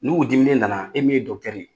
N'u diminen nana, e min ye ye